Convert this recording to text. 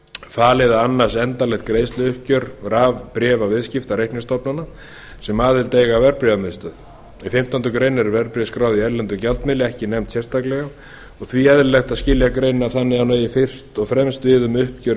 falið að annast endanlegt greiðsluuppgjör rafbréfaviðskipta reikningsstofnana sem aðild eiga að verðbréfamiðstöð í fimmtándu greinar eru verðbréf skráð í erlendum gjaldmiðli ekki nefnd sérstaklega og því eðlilegt að skilja greinina þannig að hún eigi fyrst og fremst við um uppgjör